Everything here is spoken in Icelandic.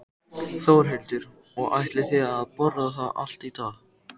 Þórhildur: Og ætlið þið að borða það allt í dag?